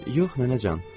Yox nənəcan.